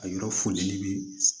A yɔrɔ fonɛni bi